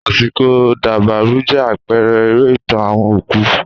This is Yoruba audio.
Àsìkò dabarú jẹ́ àpẹrẹ eré ìtàn àwọn òkú